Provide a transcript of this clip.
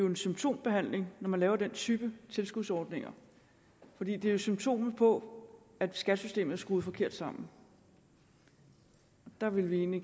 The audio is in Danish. en symptombehandling at lave den type tilskudsordninger det er jo symptomet på at skattesystemet er skruet forkert sammen der ville vi egentlig